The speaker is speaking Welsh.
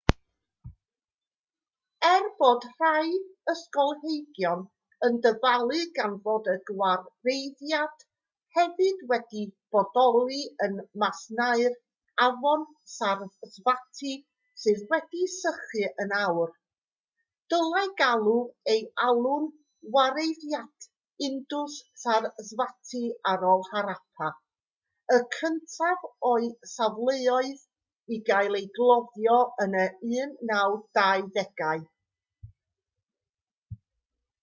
er bod rhai ysgolheigion yn dyfalu gan fod y gwareiddiad hefyd wedi bodoli ym masnau'r afon sarasvati sydd wedi sychu yn awr dylai gael ei alw'n wareiddiad indus-sarasvati ar ôl harappa y cyntaf o'i safleoedd i gael ei gloddio yn y 1920au